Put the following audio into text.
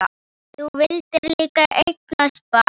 Þú vildir líka eignast barn.